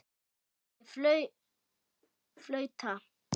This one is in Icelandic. Ég flauta.